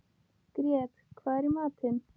Grét, hvað er í matinn?